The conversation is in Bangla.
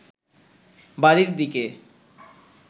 বাড়ির দিকে